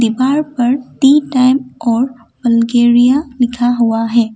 दीवार पर tea time और वलगेरिया लिखा हुआ है।